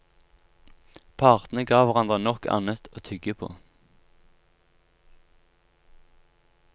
Partene ga hverandre nok annet å tygge på.